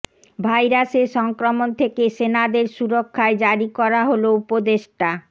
ভাইরাসের সংক্রমণ থেকে সেনাদের সুরক্ষায় জারি করা হল উপদেষ্টা